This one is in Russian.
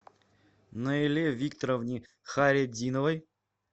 наиле викторовне хайретдиновой